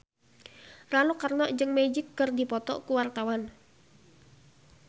Rano Karno jeung Magic keur dipoto ku wartawan